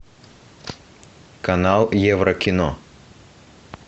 канал еврокино